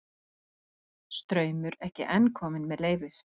Straumur ekki enn kominn með leyfið